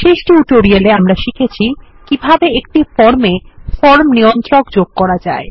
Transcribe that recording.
শেষ টিউটোরিয়ালে আমরা শিখেছি কিভাবে একটি ফর্মে ফর্ম নিয়ন্ত্রক যোগ করা যায়